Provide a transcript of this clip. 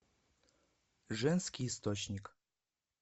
женский источник